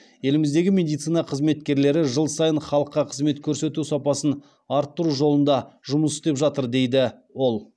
еліміздегі медицина қызметкерлері жыл сайын халыққа қызмет көрсету сапасын артыру жолында жұмыс істеп жатыр дейді ол